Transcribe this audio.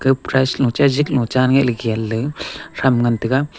ngocha zik ngocha ngehle kheloe thram ngan taiga.